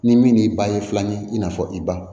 Ni min ban ye filanan ye i n'a fɔ i ba